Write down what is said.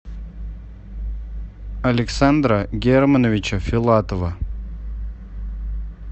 александра германовича филатова